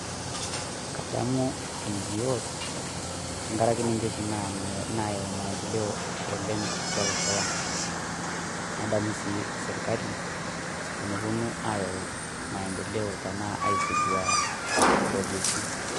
kadamu NGOs tenkaraki ninche oshi nayau maendeleo oleng atua losho lang nadamu sii sirkali tenoponu ayau maendeleo anaa teneponu aizindua projekti.